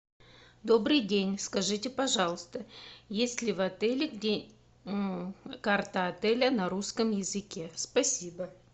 добрый день скажите пожалуйста есть ли в отеле где карта отеля на русском языке спасибо